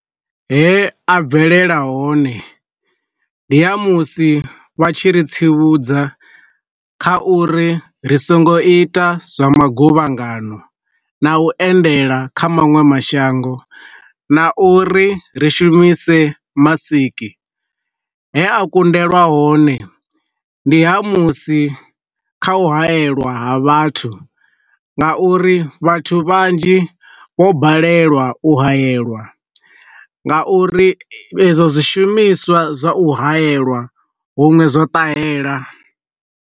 He a bvelela hone, ndi ha musi vha tshi ri tsivhudza kha uri ri songo ita zwa maguvhangano na u endela kha maṅwe mashango na uri ri shumise masiki. He a kundelwa hone, ndi ha musi kha u hayeliwa vhathu, nga uri vhathu vhanzhi vho balelwa u hayeliwa nga uri ezwo zwishumiswa zwa u hayeliwa huṅwe zwa ṱahela.